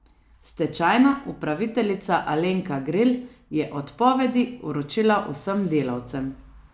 Stečajna upraviteljica Alenka Gril je odpovedi vročila vsem delavcem.